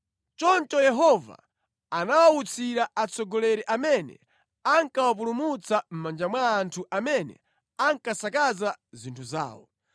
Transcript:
Choncho Yehova anawawutsira atsogoleri amene ankawapulumutsa mʼmanja mwa anthu amene ankasakaza zinthu zawo.